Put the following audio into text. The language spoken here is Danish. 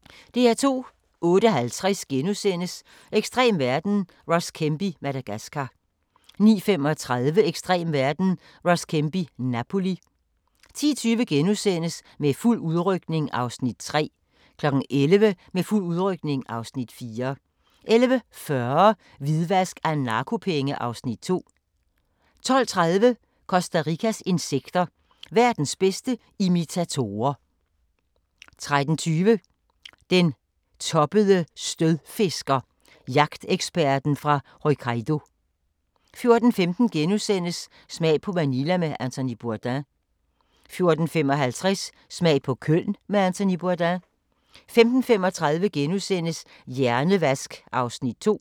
08:50: Ekstrem verden – Ross Kemp i Madagascar * 09:35: Ekstrem verden – Ross Kemp i Napoli 10:20: Med fuld udrykning (Afs. 3)* 11:00: Med fuld udrykning (Afs. 4) 11:40: Hvidvask af narkopenge (Afs. 2) 12:30: Costa Ricas insekter – verdens bedste imitatorer 13:20: Den toppede stødfisker - jagteksperten fra Hokkaido 14:15: Smag på Manila med Anthony Bourdain * 14:55: Smag på Köln med Anthony Bourdain 15:35: Hjernevask (2:7)*